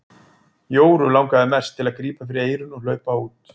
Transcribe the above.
Jóru langaði mest til að grípa fyrir eyrun og hlaupa út.